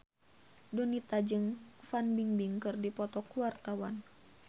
Donita jeung Fan Bingbing keur dipoto ku wartawan